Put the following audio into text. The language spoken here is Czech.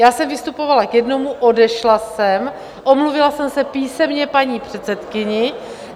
Já jsem vystupovala k jednomu, odešla jsem, omluvila jsem se písemně paní předsedkyni.